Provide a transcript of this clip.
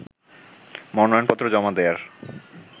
মনোনয়নপত্র জমা দেয়ার